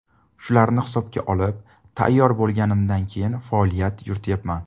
Shularni hisobga olib, tayyor bo‘lganimdan keyin faoliyat yurityapman.